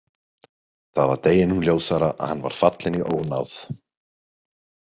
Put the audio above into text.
Það var deginum ljósara að hann var fallinn í ónáð.